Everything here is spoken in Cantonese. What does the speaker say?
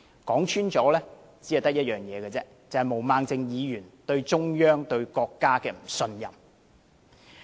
說穿了，只有一個問題，便是毛孟靜議員對中央、對國家的不信任。